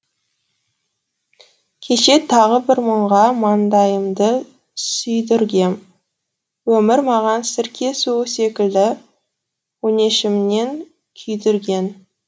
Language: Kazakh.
кеше тағы бір мұңға маңдайымды сүйдіргем өмір маған сірке суы секілді өңешімнен күйдірген